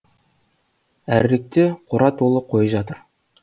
әріректе қора толы қой жатыр